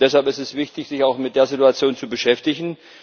Deshalb ist es wichtig, sich auch mit der Situation zu beschäftigen.